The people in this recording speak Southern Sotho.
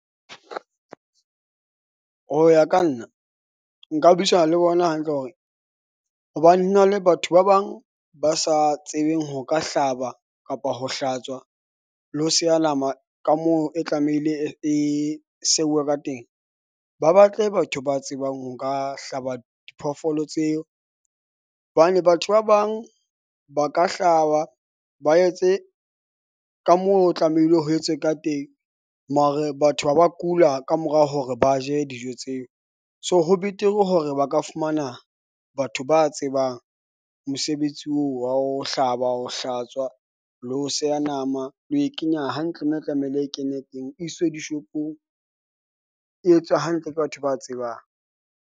Ho ya ka nna nka buisana le bona hantle hore hobane ho na le batho ba bang ba sa tsebeng ho ka hlaba kapa ho hlatswa le ho seya nama ka moo e tlamehile e seuwe ka teng. Ba batle batho ba tsebang ho ka hlaba diphoofolo tseo hobane batho ba bang ba ka hlaba ba etse ka moo, ho tlamehile ho etswe ka teng. Mare batho ba ba kula kamorao hore ba je dijo tseo. So, ho betere hore ba ka fumana batho ba tsebang mosebetsi oo wa ho hlaba, ho hlatswa le ho seya nama. Le ho e kenya hantle mme e tlamehile e kene teng. E iswe di-shop-ong e etswe hantle ke batho ba tsebang.